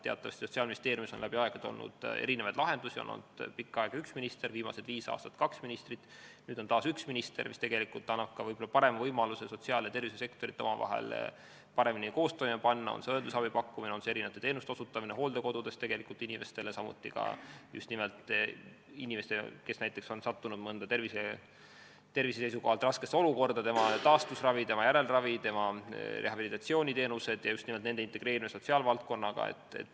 Teatavasti on Sotsiaalministeeriumis läbi aegade olnud erinevaid lahendusi, pikka aega oli seal üks minister, viimased viis aastat oli kaks ministrit, nüüd on taas üks minister, mis annab võib-olla parema võimaluse sotsiaal- ja tervishoiusektorit koos toimima panna, on see siis õendusabi pakkumine, teenuste osutamine hooldekodudes, samuti teenuste osutamine inimestele, kes on näiteks sattunud tervise seisukohalt raskesse olukorda, taastusravi-, järelravi-, rehabilitatsiooniteenused ja nende integreerimine sotsiaalvaldkonnaga.